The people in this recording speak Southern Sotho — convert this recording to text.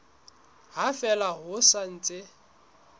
ha fela ho sa ntse